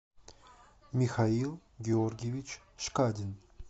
михаил георгиевич шкадин